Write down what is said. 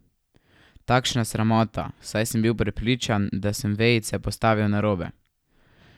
Takšna sramota, saj sem bil prepričan, da sem vejice postavil narobe.